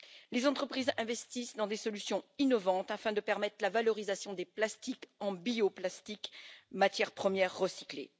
Les entreprises investissent dans des solutions innovantes afin de permettre la valorisation des plastiques en bioplastique, matière première recyclée.